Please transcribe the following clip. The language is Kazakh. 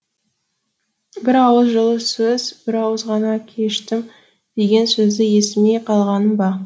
бір ауыз жылы сөз бір ауыз ғана кештім деген сөзді естімей қалғаным ба